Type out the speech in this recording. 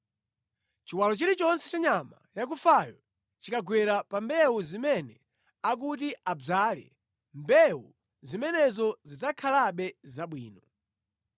Chiwalo chilichonse cha nyama yakufayo chikagwera pa mbewu zimene akuti adzale, mbewu zimenezo zidzakhalabe zabwino.